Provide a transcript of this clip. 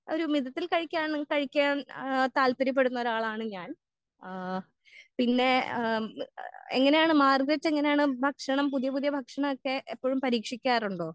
ഒരു മിതത്തിൽ കഴിക്കാണ് കഴിക്കാൻ ആ താൽപര്യപ്പെടുന്ന ഒരാളാണ് ഞാൻ ഏഹ് പിന്നെ ഏഹ് എങ്ങനെയാണ് മാരിതെത്ത് എങ്ങനെയാണ് ഭക്ഷണം പുതിയ പുതിയ ഭക്ഷണക്കെ എപ്പഴും പരീക്ഷിക്കാറുണ്ടോ?